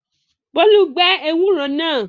Bólú gbẹ ewúro náà?